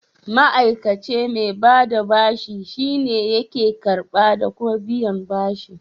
Ma'aikace mai bada bashi shine yake karɓa da kuma biyan bashi.